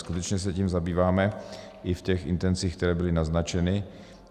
Skutečně se tím zabýváme i v těch intencích, které byly naznačeny.